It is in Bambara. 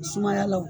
Sumaya la o